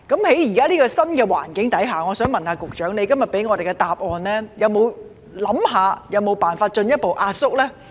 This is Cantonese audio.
在現時這個新環境下，我想問，局長今天給我們答案時有否考慮有否辦法進一步壓縮程序呢？